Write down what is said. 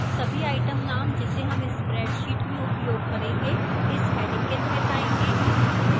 सभी item names जिसे names spreadsheet में उपयोग करेंगे इस heading के तहत आएंगे